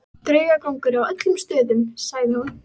Draugagangur á öllum stöðunum, sagði hún.